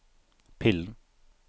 pillen